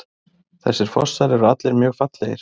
Þessir fossar eru allir mjög fallegir.